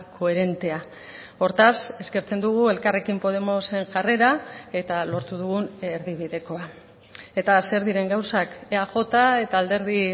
koherentea hortaz eskertzen dugu elkarrekin podemosen jarrera eta lortu dugun erdibidekoa eta zer diren gauzak eaj eta alderdi